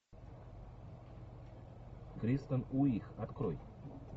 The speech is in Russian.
кристен уиг открой